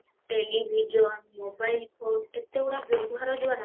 television mobile phone ଏତେ ଗୁଡା ବ୍ୟବହାର ଦ୍ଵାରା